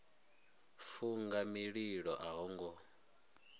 funga mililo a ho ngo